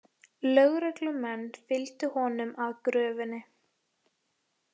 Lögreglumenn fylgdu honum að gröfinni